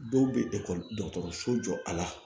Dɔw bɛ dɔgɔtɔrɔso jɔ a la